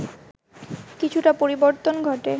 কিছুটা পরিবর্তন ঘটে